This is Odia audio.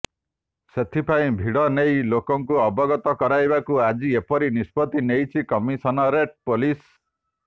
ସେଥିପାଇଁ ଭିଡ ନେଇ ଲୋକଙ୍କୁ ଅବଗତ କରାଇବାକୁ ଆଜି ଏପରି ନିଷ୍ପତି ନେଇଛି କମିଶନରେଟ୍ ପୋଲିସ